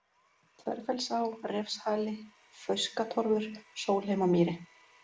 Þverfellsá, Refshali, Fauskatorfur, Sólheimamýri